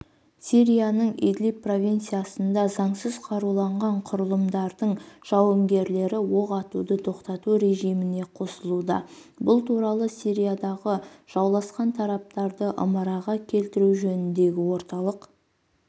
сирияның идлиб провинциясында заңсыз қаруланған құрылымдардың жауынгерлері оқ атуды тоқтату режиміне қосылуда бұл туралы сириядағы жауласқан тараптарды ымыраға келтіру жөніндегі орталық